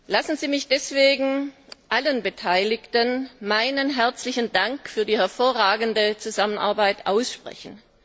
Lassen Sie mich deswegen allen Beteiligten meinen herzlichen Dank für die hervorragende Zusammenarbeit aussprechen.